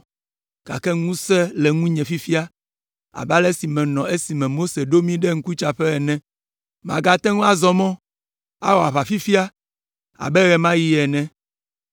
gake ŋusẽ le ŋunye fifia abe ale si menɔ esime Mose ɖo mí ɖe ŋkutsaƒe ene. Magate ŋu azɔ mɔ, awɔ aʋa fifia abe ɣe ma ɣi ene,